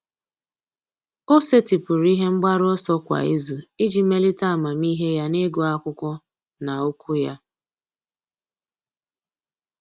Ọ́ sètị́pụ̀rụ̀ ihe mgbaru ọsọ kwa ìzù iji melite amamihe ya n’ị́gụ́ ákwụ́kwọ́ na okwu ya.